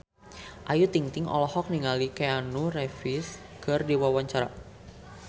Ayu Ting-ting olohok ningali Keanu Reeves keur diwawancara